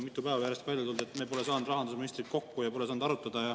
Mitu päeva järjest on välja tulnud, et pole saanud rahandusministriga kokku ja pole saanud arutada.